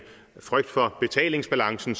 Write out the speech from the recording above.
frygt for betalingsbalancen